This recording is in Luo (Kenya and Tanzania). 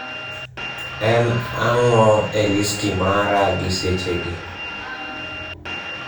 En ang'o e listi mara gi sechegi